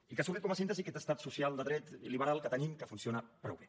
i n’ha sortit com a síntesi aquest estat social de dret liberal que tenim que funciona prou bé